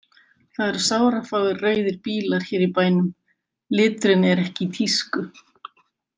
Það eru sárafáir rauðir bílar hér í bænum, liturinn er ekki í tísku.